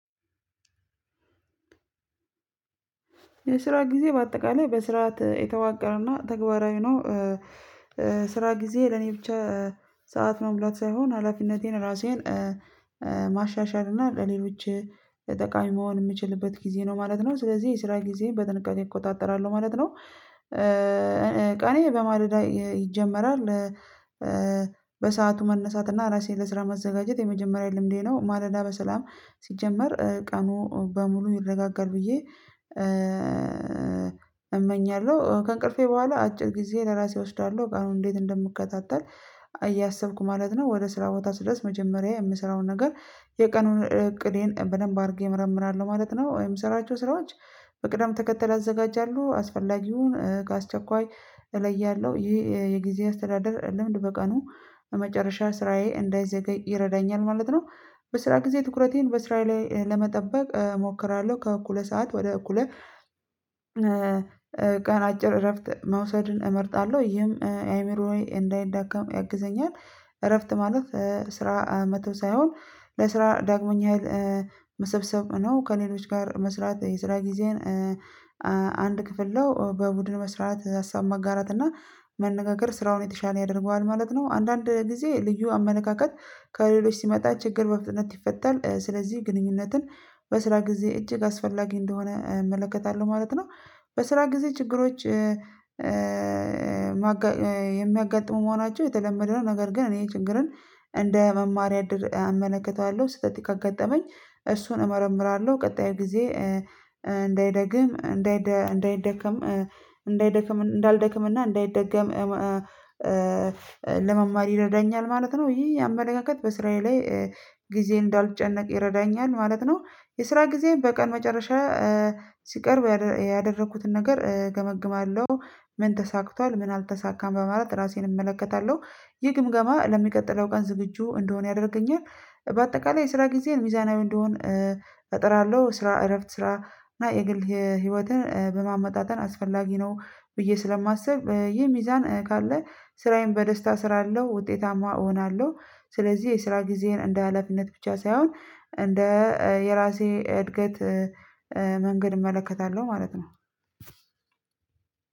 የስራ ጊዜ በአጠቃላይ በስርዓት የተዋቀረና ተግባራዊ ነው። ስራ ጊዜ ለኔ ብቻ። ሰዓት መሙላት ሳይሆን ሀላፊነቴን ራሴን ማሻሻል እና ለሌሎች ጠቃሚ መሆን የምችልበት ጊዜ ነው ማለት ነው። ስለዚህ የስራ ጊዜ በጥንቃቄ እቆጣጠራለሁ ማለት ነው። ቀኔ በማለዳ ይጀመራል። በሰአቱ መነሳት እና ራሴን ለስራ ማዘጋጀት የመጀመሪያ ልምዴ ነው። ማለዳ በሰላም ሲጀመር ቀኑ በሙሉ ይረጋጋል ብዬ እመኛለሁ። ከእንቅልፌ በኋላ አጭር ጊዜ ለራሴ እወስዳለሁ ቀኑን እንዴት እንደምከታተል እያሰብኩ ማለት ነው። ወደ ስራ ቦታ ስደርስ መጀመሪያ የምሰራውን ነገር የቀኑን እቅዴን በደንብ አድርጌ እመርምራለሁ ማለት ነው። የምስራቸው ስራዎች በቅደም ተከተል ያዘጋጃሉ አስፈላጊውን ከአስቸኳይ እለያለሁ ይሄ የጊዜ አስተዳደር ልምድ በቀኑ በመጨረሻ ስራዬ እንዳይዘገይ ይረዳኛል ማለት ነው። በስራ ጊዜ ትኩረቴን በስራዬ ላይ ለመጠበቅ እሞክራለሁ ከእኩለ ሰዓት ወደ እኩለ ቀን አጭር እረፍት መውሰድን እመርጣለሁ ይህም አይምሮዬ እንዳይዳከም ያግዘኛል። እረፍት ማለት ስራ መተው ሳይሆን ለስራ ዳግመኛ መሰብሰብ ነው። ከኔሎች ጋር መስራት የስራ ጊዜን አንድ ክፍል ነው በቡድን መስራት ሀሳብ መጋራት እና መነጋገር ስራውን የተሻለ ያደርገዋል ማለት ነው። አንዳንድ ጊዜ ልዩ አመለካካት ከሌሎች ሲመጣ ችግር በፍጥነት ይፈታል ስለዚህ ግንኙነትን በስራ ጊዜ እጅግ አስፈላጊ እንደሆነ እመለከታለሁ ማለት ነው። በስራ ጊዜ ችግሮች የሚያጋጥሙ መሆናቸው የተለመደ ነው። ነገር ግን እኔ ችግርን እንደ መማሪያ አመለክተዋለሁ ስህተት ካጋጠመኝ እሱን እመረምራለሁ ቀጣይ ጊዜ እንዳይደግም እንዳይደከም እንዳይደከም እንዳይደከም እንዳይደልደክምና እንዳይደገም ለመማር ይረዳኛል ማለት ነው። ይሄ አመለካከት በስራዬ ላይ ጊዜ እንዳልጨነቅ ይረዳኛል ማለት ነው። የስራ ጊዜ በቀን መጨረሻ ሲቀርብ ያደረኩትን ነገር እገመግማለሁ። ምን ተሳክቷል ምን አልተሳካም በማለት ራሴን እመለከታለሁ። ይህ ግምገማ ለሚቀጥለው ቀን ዝግጁ እንድሆን ያደርገኛል። በአጠቃላይ የስራ ጊዜን ሚዛናዊ እንዲሆን እጥራለሁ። ስራ እረፍት ስራ እና የግል ህይወትን በማመጣጠን አስፈላጊ ነው። ብዬ ስለማስብ ይሄ ሚዛን ካለ ስራዬን በደስታ እስራለው ውጤታማ እሆናለሁ። ስለዚህ የስራ ጊዜዬን እንደ ሀላፊነት ብቻ ሳይሆን እንደ የራሴ እድገት መንገድ እመለከታለሁ ማለት ነው።